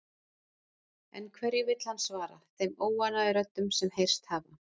En hverju vill hann svara þeim óánægjuröddum sem heyrst hafa?